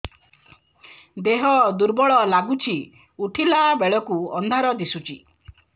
ଦେହ ଦୁର୍ବଳ ଲାଗୁଛି ଉଠିଲା ବେଳକୁ ଅନ୍ଧାର ଦିଶୁଚି